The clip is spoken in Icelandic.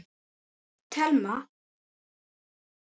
Telma: En verður fækkað?